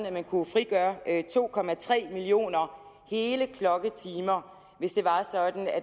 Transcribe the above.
at man kunne frigøre to millioner hele klokketimer hvis